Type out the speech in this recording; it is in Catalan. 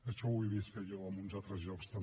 això ho he vist fer jo a uns altres llocs també